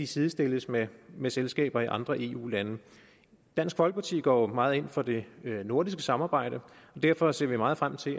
sidestilles med med selskaber i andre eu lande dansk folkeparti går jo meget ind for det nordiske samarbejde derfor ser vi meget frem til